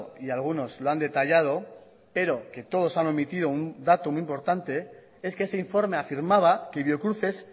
y algunos lo han detallado pero que todos han omitido un dato muy importante es que ese informe afirmaba que biocruces